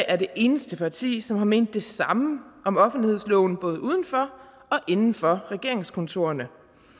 er det eneste parti som har ment det samme om offentlighedsloven både uden for og inden for regeringskontorerne